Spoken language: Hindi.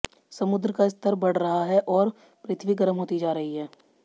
समुद्र का स्तर बढ़ रहा है और पृथ्वी गर्म होती जा रही है